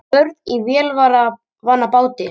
Börn í vélarvana báti